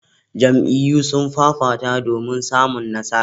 Jam'iyyu sun fafata domin samun nasara.